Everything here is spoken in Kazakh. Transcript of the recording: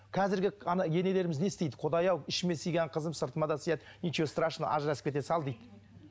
қазіргі енелеріміз не істейді құдай ау ішіме сыйған қызым сыртыма да сыяды ничего страшного ажырасып кете сал дейді